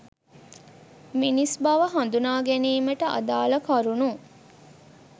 මිනිස් බව හඳුනා ගැනීමට අදාළ කරුණු